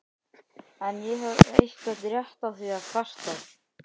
En hef ég einhvern rétt á því að kvarta?